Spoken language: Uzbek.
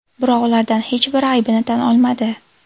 Biroq ulardan hech biri aybini tan olmadi.